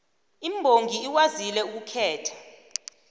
imbongi ikwazile ukukhetha